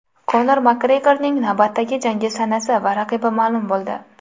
Konor Makgregorning navbatdagi jangi sanasi va raqibi ma’lum bo‘ldi.